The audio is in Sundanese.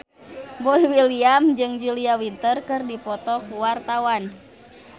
Boy William jeung Julia Winter keur dipoto ku wartawan